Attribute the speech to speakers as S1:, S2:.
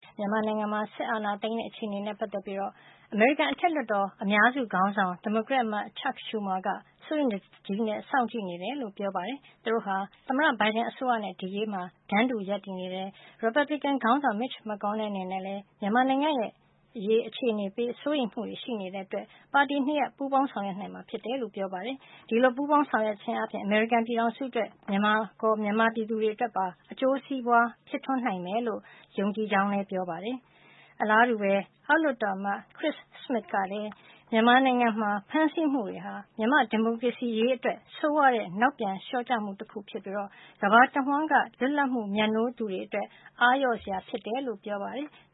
S1: မြန်မာနိုင်ငံမှာ စစ်အာဏာသိမ်းတဲ့ အခြေအနေနဲ့ ပတ်သက်ပြီး အမေရိကန်အထက်လွှတ်တော် အမတ်အများစုခေါင်းဆောင် ဒီမိုကရက်အမတ် Chuck Schumer ကစိုးရိမ်တကြီးစောင့်ကြည့်နေတယ်လို့ ပြောကြားလိုက်ပါတယ်။ သူတို့ဟာ သမ္မတ Biden အစိုးရနဲ့ ဒီအရေးမှာ တန်းတူ ရပ်တည်နေတယ်၊ ရီပါပလီကန် ခေါင်းဆောင် မစ်ချ်မက်ကော်နယ်လ် အနေနဲ့လည်း မြန်မာ့ နိုင်ငံရေးရဲ့ အခြေအနေ အပေါ် စိုးရိမ်မှုတွေရှိနေတဲ့အတွက် ပါတီနှစ်ရပ် ပူးပေါင်းဆောင်ရွက်နိုင်မှာဖြစ်တယ်လို့ ဆိုပါတယ်။ ဒီလိုပူးပေါင်းဆောင်ရွက်ခြင်းအားဖြင့် အမေရိကန်ပြည်ထောင်စုအတွက် မြန်မာပြည်သူတွေအတွက်ပါ အကျိုးစီးပွားဖြစ်ထွန်းနိုင်လိမ့်မယ်လို့ ယုံကြည်ကြောင်း ပြောကြားသွားပါတယ်။ အလားတူစွာပဲ အောက်လွှတ်တော်အမတ် Chris Smith ကလဲ မြန်မာနိုင်ငံမှာ ဖမ်းဆီးမှုတွေဟာ မြန်မာ့ဒီမိုကရေစီရေးအတွက် ဆိုးရွားတဲ့ နောက်ပြန်လျှောကျမှု တခုဖြစ်ပြီး ကမ္ဘာတဝှမ်း လွတ်လပ်မှုမြတ်နိုးသူတွေအတွက် အားလျော့စရာဖြစ်တယ်လို့ ဆိုပါ
S2: တယ်။